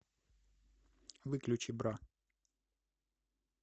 выключи бра